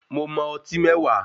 Mo mọ ọtí mẹ̀wá.